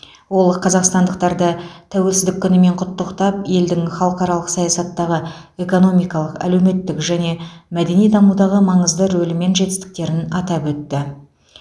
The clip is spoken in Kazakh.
ол қазақстандықтарды тәуелсіздік күнімен құттықтап елдің халықаралық саясаттағы экономикалық әлеуметтік және мәдени дамудағы маңызды рөлі мен жетістіктерін атап өтті